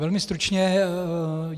Velmi stručně.